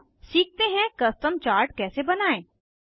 अब सीखते हैं कस्टम चार्ट कैसे बनायें